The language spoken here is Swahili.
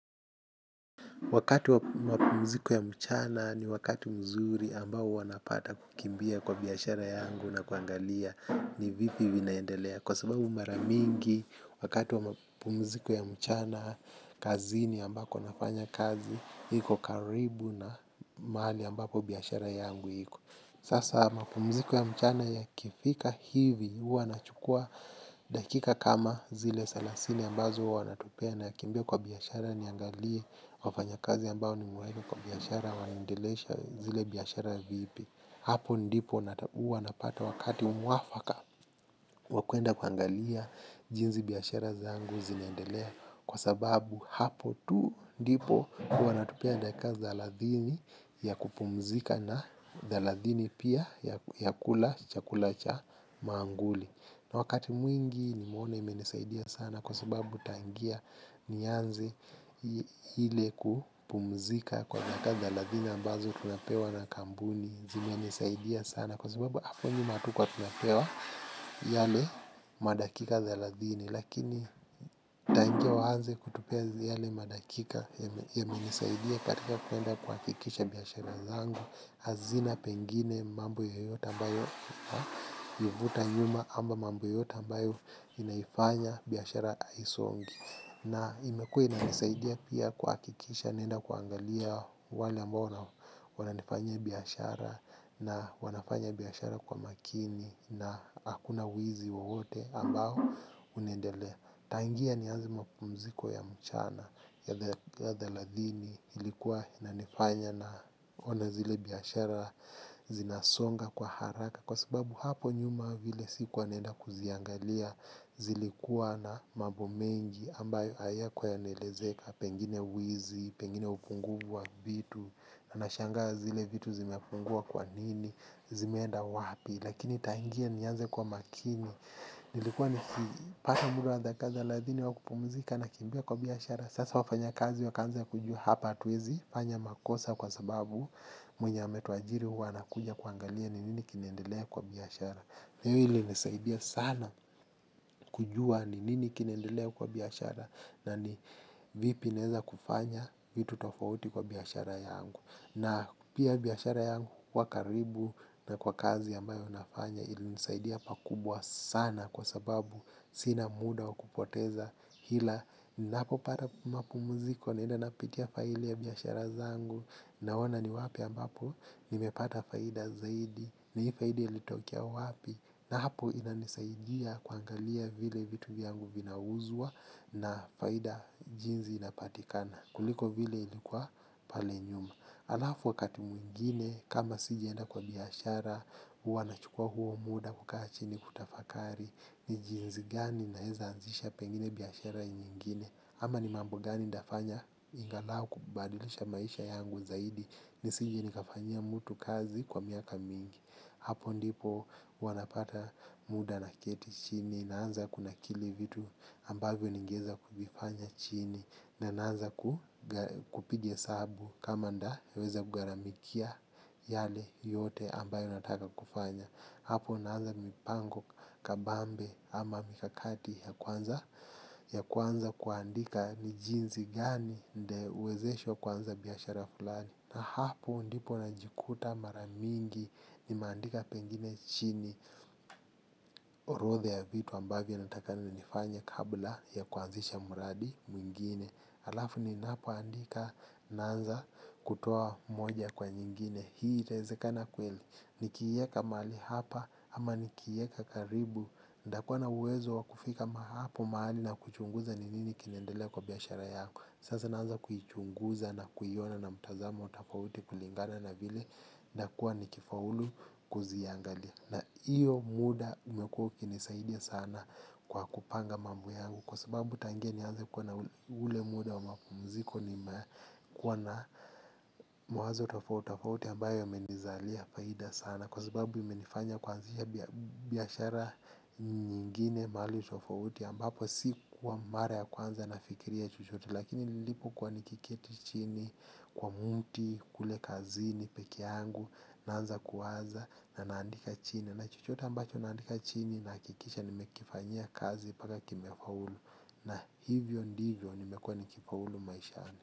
Wakati wa mapumziko ya mchana ni wakati mzuri ambao huwa napata kukimbia kwa biashara yangu na kuangalia ni vipi vinaendelea. Kwa sababu mara mingi, wakati wa mapumziko ya mchana, kazini ambako nafanya kazi, iko karibu na mahali ambapo biashara yangu iko. Sasa mapumziko ya mchana yakifika hivi huwa nachukua dakika kama zile salasini ambazo huwa natupea nakimbia kwa biashara niangalie wafanyakazi ambao nimewaeka kwa biashara waendelesha zile biashara vipi. Hapo ndipo uwa napata wakati mwafaka wa kwenda kuangalia jinzi biashara zangu zinaendelea kwa sababu hapo tu ndipo hua wanatupea dakika thaladhini ya kupumzika na thaladhini pia ya kula chakula cha maanguli na wakati mwingi nimeona imenisaidia sana kwa sababu tangia nianzi ile kupumzika kwa dakika thelathini ambazo tunapewa na kambuni zinanisaidia sana kwa sababu hapo nyuma hatukua tunapewa yale madakika thelathini lakini tangia waanze kutupea yale madakika yamenisaidia katika kwenda kuhakikisha biashara zangu hazina pengine mambo yoyote ambayo ivuta nyuma ama mambo yoyote ambayo inaifanya biashara aisongi na imekua inaisaidia pia kuakikisha naenda kuangalia wale ambao wanao wananifanyia biashara na wanafanya biashara kwa makini na akuna wizi wowote ambao unaendelea tangia nianze mapumziko ya mchana ya thelathini ilikuwa inanifanya naona zile biashara zinasonga kwa haraka kwa sababu hapo nyuma vile sikuwa naenda kuziangalia zilikua na mambo mengi ambayo hayakua yanaelezeka pengine wizi pengine upunguvu wa vitu na nashangaa zile vitu zimepungua kwa nini. Zimeenda wapi. Lakini tangia nianze kua makini nilikua nikipata muda wa dakika thelathini wa kupumzika nakimbia kwa biashara sasa wafanyakazi wakaanza kujua sasa hapa hatuwezi fanya makosa kwa sababu mwenye ametuajiri huwa anakuja kuangalia ni nini kinaendelea kwa biashara. Hio ilinisaidia sana kujua ni nini kinaendelea kwa biashara. Na ni vipi naeza kufanya vitu tofauti kwa biashara yangu. Na pia biashara yangu kuwa karibu na kwa kazi ambayo nafanya ilinisaidia pakubwa sana kwa sababu sina muda wa kupoteza hila. Ninapopata mapumuziko naenda napitia faili ya biyashara zangu naona ni wapi ambapo nimepata faida zaidi. Na ii faida ilitokea wapi na hapo inanisaidia kuangalia vile vitu vyangu vinauzwa na faida jinzi inapatikana kuliko vile ilikua pale nyuma. Alafu wakati mwingine kama sijaenda kwa biashara uwa nachukua huo muda kukaa chini kutafakari. Ni jinzi gani naeza anzisha pengine biashara nyengine ama ni mambo gani ndafanya ingalau kubadilisha maisha yangu zaidi. Nisije nikafanyia mutu kazi kwa miaka mingi. Hapo ndipo huwa napata muda naketi chini naanza kunakili vitu ambavyo ningeeza kuvifanya chini na naanza kupiga hesabu kama ndaweza kugharamikia yale yote ambayo nataka kufanya. Hapo naanza mipango kabambe ama mikakati ya kwanza kuandika ni jinzi gani ndewezeshwa kuanza biashara fulani. Na hapo ndipo najikuta mara mingi nimaandika pengine chini. Orodhe ya vitu ambavyo nataka na nifanye kabla ya kuanzisha muradi mwingine alafu ninapoandika naanza kutoa moja kwa nyingine. Hii itaezekana kweli. Nikiieka mahali hapa ama nikiieka karibu. Ndakua na uwezo wa kufika ma hapo mahali na kuchunguza ni nini kinaendelea kwa biashara yangu. Sasa naanza kuichunguza na kuiona na mtazamo tafauti kulingana na vile ndakuwa nikifaulu kuziangalia. Na iyo muda umekuwa ukinisaidia sana kwa kupanga mambo yangu. Kwa sababu tangia nianze kuwa na ule muda wa mapumziko nimekua na mawazo tofautofauti ambayo yamenizalia faida sana. Kwa sababu imenifanya kuanzisha biashara nyingine mahali tofauti ambapo sikua mara ya kwanza nafikiria chochote. Lakini nilipokuwa nikikieti chini kwa muti kule kazini peke yangu naanza kuwaza na naandika chini. Na chochote ambacho naandika chini nahakikisha nimekifanyia kazi paka kimefaulu. Na hivyo ndivyo nimekuwa nikipaulu maishani.